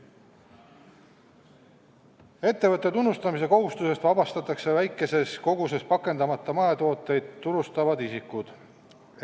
Ettevõtte tunnustamise kohustusest vabastatakse väikeses koguses pakendamata mahetooteid turustavad isikud.